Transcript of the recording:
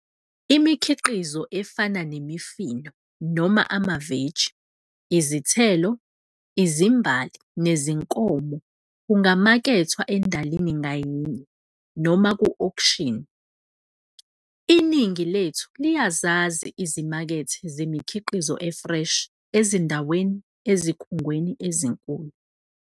Imikhiqizo efana nemifino noma amaveji, izithelo, izimbali nezinkomo kungamakethwa endalini ngayinye noma ku-Auction. Iningi lethu liyazazi izimakethe zemikhiqizo e-fresh ezindawe ezikhungweni ezinkulu.